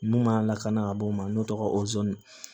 Mun man lakana ka bɔ o ma n'o tɔgɔ o